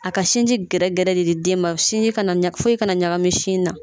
A ka sinji gɛrɛ de di den ma sinji kana foyi kana ɲagami sin na.